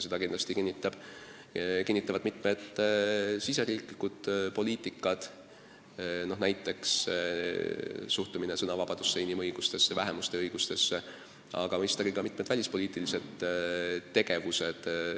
Seda kinnitavad kindlasti mitmed meie riigisisesed poliitikad, näiteks suhtumine sõnavabadusse, inimõigustesse, vähemuste õigustesse, aga mõistagi ka meie välispoliitiline tegevus.